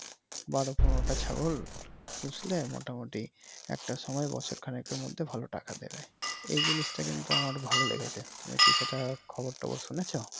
বারো পনেরোটা ছাগল পুষলে মোটামুটি একটা সময় বছর খানিকের মধ্যে ভালো টাকা দিবে এই জিনিসটা কিন্তু আমার ভালো লেগেছে। তুমি কি সেটার খবর টবর শুনছো।